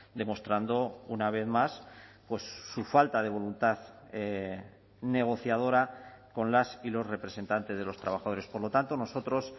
demostrando una vez más su falta de voluntad negociadora con las y los representantes de los trabajadores por lo tanto nosotros